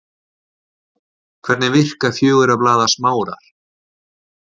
Hvernig virka fjögurra blaða smárar?